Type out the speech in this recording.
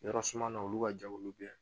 Yɔrɔ suma na olu ka jago bɛ